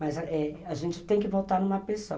Mas a gente tem que votar numa pessoa.